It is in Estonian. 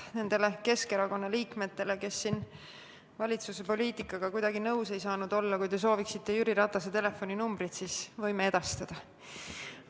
Nendele Keskerakonna liikmetele, kes siin valitsuse poliitikaga kuidagi nõus ei saanud olla, ütlen, et kui te soovite Jüri Ratase telefoninumbrit, siis me võime edastada.